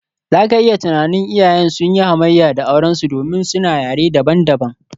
Za ka iya tunanin, iyayen sun yi hamayya da aurensu domin suna yare dabam-dabam.